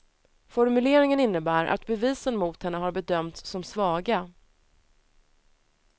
Formuleringen innebär att bevisen mot henne har bedömts som svaga.